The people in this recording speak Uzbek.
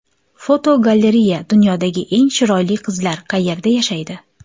Fotogalereya: Dunyodagi eng chiroyli qizlar qayerda yashaydi?.